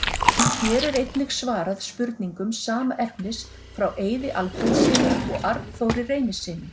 Hér er einnig svarað spurningum sama efnis frá Eiði Alfreðssyni og Arnþóri Reynissyni.